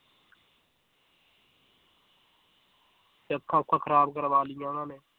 ਤੇ ਅੱਖਾਂ ਊਖਾਂ ਖਰਾਬ ਕਰਵਾ ਲਈਆਂ ਉਹਨਾਂ ਨੇ